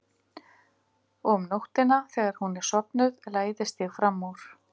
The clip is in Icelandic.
Og um nóttina þegar hún er sofnuð læðist ég fram úr.